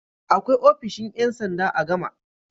Akwai ofishin ƴan sanda a Gama.